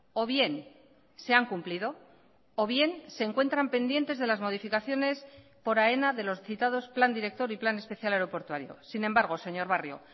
o bien se han cumplido o bien se encuentran pendientes de las modificaciones por aena de los citados plan director y plan especial aeroportuario sin embargo señor barrio